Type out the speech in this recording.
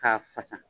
K'a fasa